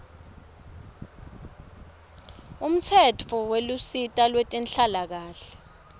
umtsetfo welusito lwetenhlalakanhle